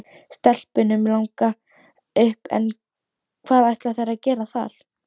Stelpunum langar upp en hvað ætla þær að gera þar?